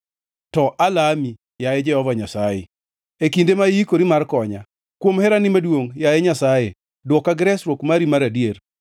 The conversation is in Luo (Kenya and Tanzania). To alami, yaye Jehova Nyasaye, e kinde ma iikori mar konya; kuom herani maduongʼ, yaye Nyasaye, dwoka gi resruok mari mar adier.